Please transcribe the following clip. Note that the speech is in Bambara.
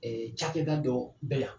Cakɛba dɔ bɛ yan